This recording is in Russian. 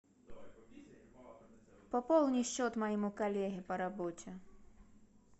пополни счет моему коллеге по работе